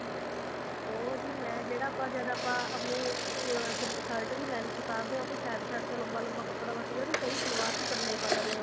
ਉਹਦੀ ਮੈਂ ਜਿਹੜਾ ਆਪਾਂ ਜਦ ਆਪਾਂ ਆਪਣੀ ah shirt ਦੀ length ਉਤਾਰਦੇ ਹਾਂ ਉਹਤੋਂ side side ਤੋਂ ਲੰਬਾ ਲੰਬਾ ਕੱਪੜਾ ਬਚਦਾ ਕਈ ਸਲਵਾਰ ਵਿੱਚ ਪੱਲੇ ਪਾ ਲੈਂਦੇ ਆ